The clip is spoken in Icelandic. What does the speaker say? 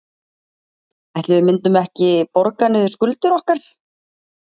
Ætli við myndum ekki borga niður skuldir okkar?